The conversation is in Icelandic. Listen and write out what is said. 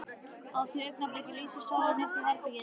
Á því augnabliki lýsir sólin upp herbergið.